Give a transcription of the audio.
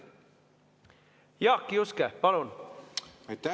Jaak Juske, palun!